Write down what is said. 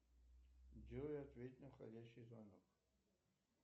джой ответь на входящий звонок